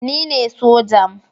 Ni ne sojan